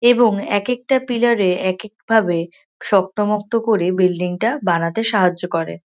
এবং একেকটা পিলার -এ একেক ভাবে শক্ত মক্ত করে বিল্ডিং -টা বানাতে সাহায্য করে।